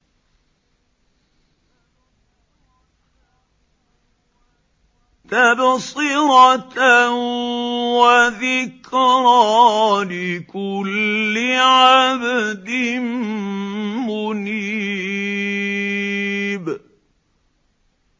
تَبْصِرَةً وَذِكْرَىٰ لِكُلِّ عَبْدٍ مُّنِيبٍ